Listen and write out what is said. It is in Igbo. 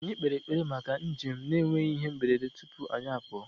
Anyị kpere ekpere maka njem na-enweghị ihe mberede tupu anyị apụọ